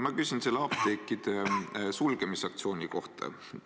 Ma küsin selle apteekide sulgemise aktsiooni kohta.